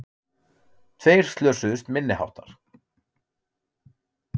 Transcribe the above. Tveir slösuðust minniháttar